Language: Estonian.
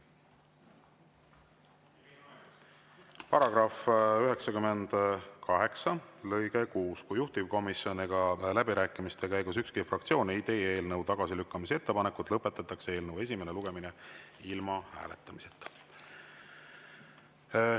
Paragrahv 98 lõige 6: "Kui juhtivkomisjon ega läbirääkimiste käigus ükski fraktsioon ei teie eelnõu tagasilükkamise ettepanekut, lõpetatakse eelnõu esimene lugemine ilma hääletamiseta.